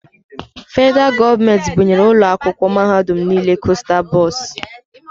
Federaal gọọmenti bunyere ụlọ akwụkwọ mahadum nile kosta bọs.